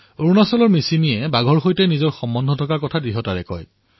অৰুণাচলৰ মিচিমি জনজাতিয়ে বাঘৰ সৈতে নিজৰ সম্পৰ্ক দাবী কৰে